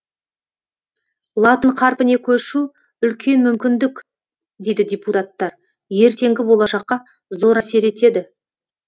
латын қарпіне көшу үлкен мүмкіндік дейді депутаттар ертеңгі болашаққа зор әсер етеді